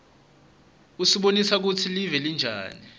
usibonisa kutsi live linjani